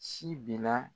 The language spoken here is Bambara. Si bina